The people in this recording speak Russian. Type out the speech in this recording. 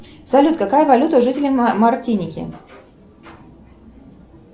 салют какая валюта у жителей мартиники